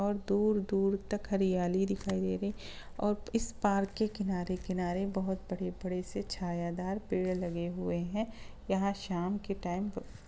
और दूर-दूर तक हरियाली दिखाई दे रही है और इस पार्क के किनारे-किनारे बहुत बड़े-बड़े से छायादार पेड़ लगे हुए हैं | यहाँ शाम के टाइम --